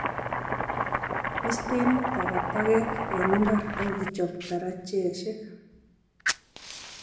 Istei takatakek eng imbar ak ichob darajeshek